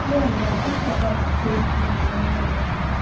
यह लड्डू का बर्थडे मनाया जा रहा है।